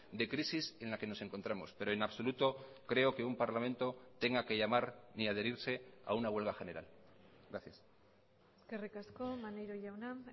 de crisis en la que nos encontramos pero en absoluto creo que un parlamento tenga que llamar ni adherirse a una huelga general gracias eskerrik asko maneiro jauna